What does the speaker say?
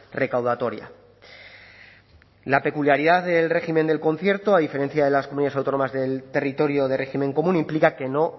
recaudatoria la peculiaridad del régimen del concierto a diferencia de las comunidades autónomas del territorio de régimen común implica que no